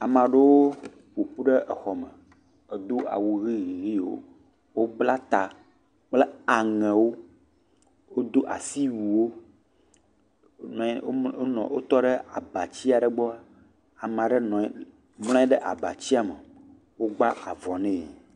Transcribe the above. Ame aɖewo ƒoƒu ɖe xɔme, edo awu ɣi ɣi ɣi wò. Wo bla ta kple aŋɛwo. Wodo asiwuie wò. Wo nɔ anyi, wotɔ ɖe agbatia ɖe gbɔ. Ame aɖe nɔ anyi ɖe abatia me. Wo gba avuvɔ nɛ.